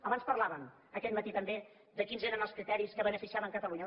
abans parlàvem aquest matí també de quins eren els criteris que beneficiaven catalunya